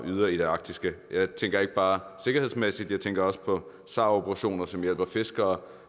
yder i det arktiske jeg tænker ikke bare sikkerhedsmæssigt jeg tænker også på sar operationer som hjælper fiskere